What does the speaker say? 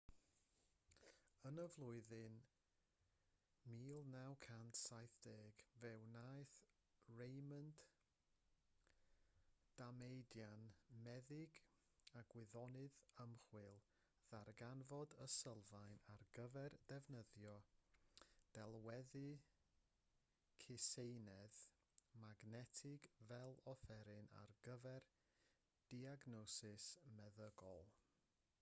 yn y flwyddyn 1970 fe wnaeth raymond damadian meddyg a gwyddonydd ymchwil ddarganfod y sylfaen ar gyfer defnyddio delweddu cyseinedd magnetig fel offeryn ar gyfer diagnosis meddygol